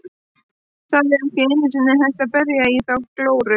Það er ekki einu sinni hægt að berja í þá glóru.